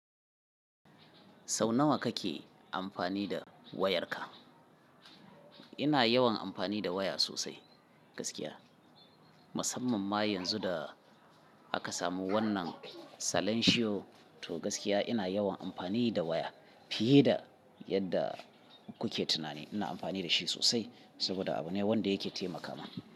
Sau nawa kake amfani da wayarka? Ina yawan amfani da waya sosai gaskiya. Musamman ma yanzu da aka samu wannan salanshiyo to gaskiya ina yawan amfani da waya fiye da yadda kuke tunani. Ina amfani da shi sosai saboda abu ne wanda yake taimakawa.